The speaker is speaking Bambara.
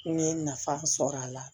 N ye nafa sɔrɔ a la